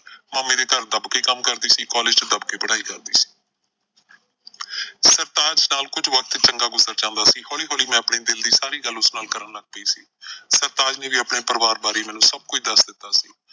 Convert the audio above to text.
ਮਾਮੇ ਦੇ ਘਰ ਦੱਬ ਕੇ ਕੰਮ ਕਰਦੀ ਸੀ, ਕਾਲਜ਼ ਚ ਦੱਬ ਕੇ ਪੜ੍ਹਾਈ ਕਰਦੀ ਸੀ ਸਰਤਾਜ ਨਾਲ ਕੁਝ ਵਕਤ ਚੰਗਾ ਗੁਜ਼ਰ ਜਾਂਦਾ ਸੀ, ਹੌਲੀ ਹੌਲੀ ਮੈਂ ਆਪਣੇ ਦਿਲ ਦੀ ਸਾਰੀ ਗੱਲ ਉਸ ਨਾਲ ਕਰਨ ਲੱਗ ਪਈ ਸੀ। ਸਰਤਾਜ ਨੇ ਵੀ ਆਪਣੇ ਪਰਿਵਾਰ ਬਾਰੇ ਮੈਨੂੰ ਸਭ ਕੁਝ ਦੱਸ ਦਿੱਤਾ ਸੀ।